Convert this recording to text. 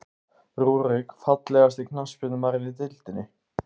Rúrik Fallegasti knattspyrnumaðurinn í deildinni?